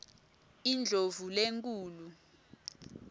indlovulenkhulu